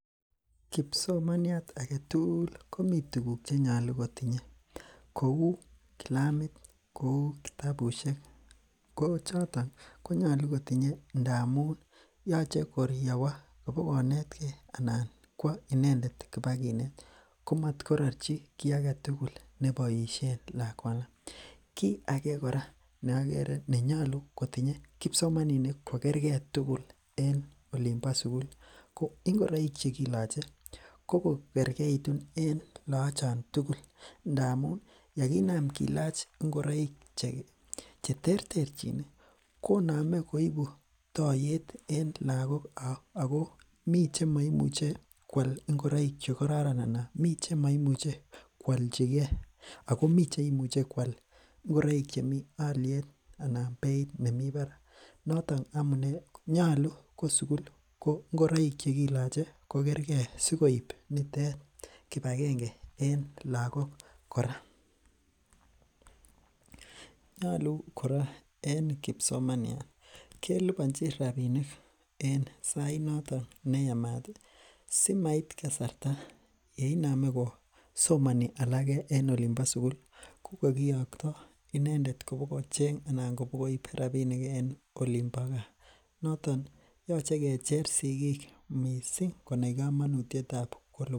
Kipsomaniat agetugul komi tukuk chenyolu kotinyei kou kilamit kou kitabushek ko choto konyolu kotinyei ndamun yochei koriyawo kobikonetkei anan kwo inendet kobakinet komatkororchi ki agetugul neboishen lakwanoto kit age kora neakere nenyolu kotinyei kipsomaninik kokergei tugul en olimbo sukul ko ingoroik chekiloche kokokerkeitun en lachon tugul ndamun yakonam kilach ngoroik cheterterchin konamei koibu toiyet en lakok ako mii chemaimuchei kwal ngoroik chekororon anan mi chemaimuchei koalchigei ako mi cheimuchei kwal ngoroik chemi alyet anan beit nemi barak noto ko amune nyolu ko sukul ko ngoroik chekiloche kokergei sikoib nitet kipagenge eng' lakok kora nyolu kora en kipsomaninik kelipanji rapinik en sainoto neyamat simait kasarta ne inamei kosomani alake en olinbo sukul ko kakiyokto inendet kobikochenu anan kobikoib rapinik en olinbo kaa noton yochei kecher sikik mising' konai kamanutiet ab